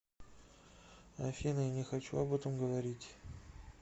афина я не хочу об этом говорить